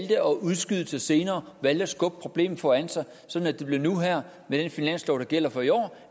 udskyde til senere valgte at skubbe problemet foran sig sådan at det blev nu her med den finanslov der gælder for i år